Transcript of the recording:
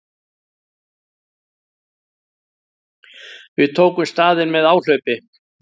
Við tökum staðinn með áhlaupi.